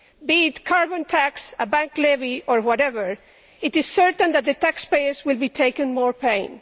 Be it carbon tax, a bank levy or whatever, it is certain that the taxpayers will be taking more pain.